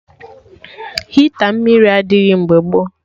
Hita mmiri adịghị mgbe gboo